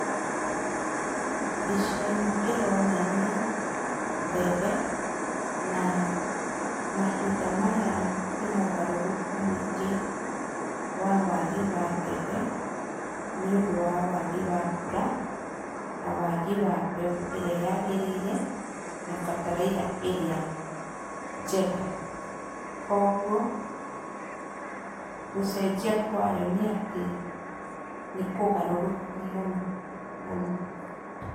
Mbica ĩno ĩronania mbembe, naa mahinda maya kwĩna ũgarũrũku mũingĩ wa wagi wa mbembe, nĩũndũ wa wagi wa mbura, na wagi wa mbeũ ĩrĩa yagĩrĩire, na bataraitha ĩrĩa njega. Koguo, gũcenjia kwayo nĩ atĩ, nĩkũgarũrũku mũno mũno.